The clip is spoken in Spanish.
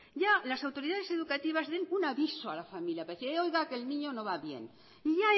ya las autoridades educativas den un aviso a la familia para decirle oiga que el niño no va bien y